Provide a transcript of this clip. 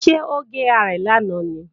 Ṣé ó gé rarẹ̀ lánàá ni?